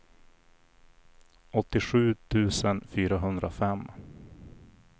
åttiosju tusen fyrahundrafem